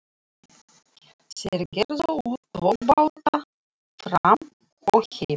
Þeir gerðu út tvo báta, Fram og Heim.